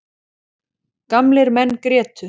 Gamlir menn grétu.